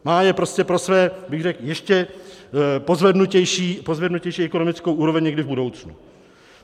Má je prostě pro svou, bych řekl, ještě pozvednutější ekonomickou úroveň někdy v budoucnu.